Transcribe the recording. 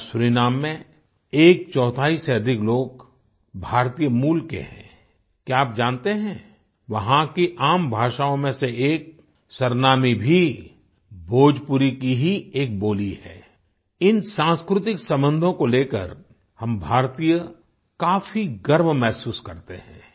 आज सूरीनाम में एक चौथाई से अधिक लोग भारतीय मूल के हैं आई क्या आप जानते हैं वहाँ की आम भाषाओँ में से एक सरनामी भी भोजपुरी की ही एक बोली है आई इन सांस्कृतिक संबंधों को लेकर हम भारतीय काफ़ी गर्व महसूस करते हैं